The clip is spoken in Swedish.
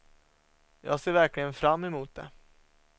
Jag ser verkligen fram emot det.